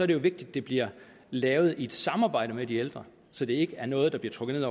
det jo vigtigt at det bliver lavet i et samarbejde med de ældre så det ikke er noget der bliver trukket